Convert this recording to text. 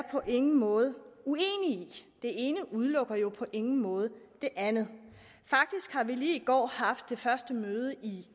på ingen måde uenig i det ene udelukker jo på ingen måde det andet faktisk har vi lige i går haft det første møde i